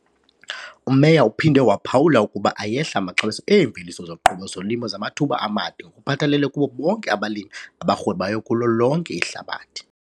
UMeyer uphinde waphawula ukuba ayehla amaxabiso eemveliso zoqobo zolimo zamathuba amade ngokuphathelele kubo bonke abalimi abarhwebayo kulo lonke ihlabathi.